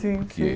Sim, sim.